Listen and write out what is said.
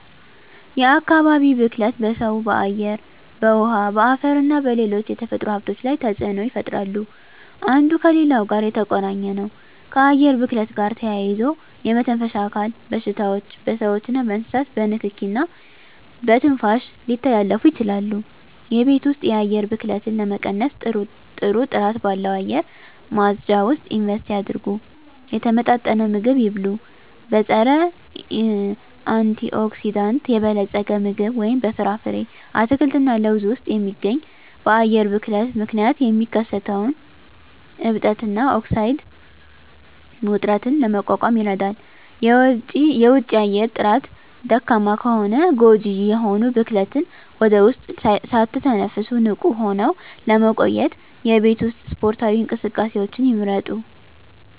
የአካባቢ ብክለት በሰው በአየር በውሀ በአፈርና በሌሎች የተፈጥሮ ሀብቶች ላይ ተፅኖ ይፈጥራሉ አንዱ ከሌላው ጋር የተቆራኘ ነው ከአየር ብክለት ጋር ተያይዞ የመተንፈሻ አካል በሽታዎች በስዎችና በእንስሳት በንኪኪ እና በትንፋሽ ሊተላለፉ ይችላሉ የቤት ውስጥ የአየር ብክለትን ለመቀነስ ጥሩ ጥራት ባለው አየር ማጽጃ ውስጥ ኢንቨስት ያድርጉ። የተመጣጠነ ምግብ ይብሉ; በፀረ-አንቲኦክሲዳንት የበለፀገ ምግብ (በፍራፍሬ፣ አትክልት እና ለውዝ ውስጥ የሚገኝ) በአየር ብክለት ምክንያት የሚከሰተውን እብጠት እና ኦክሳይድ ውጥረትን ለመቋቋም ይረዳል። የውጪ አየር ጥራት ደካማ ከሆነ ጎጂ የሆኑ ብክለትን ወደ ውስጥ ሳትተነፍሱ ንቁ ሆነው ለመቆየት የቤት ውስጥ ስፖርታዊ እንቅስቃሴዎችን ይምረጡ።